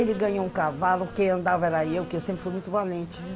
Ele ganhou um cavalo, quem andava era eu, que eu sempre fui muito valente, viu?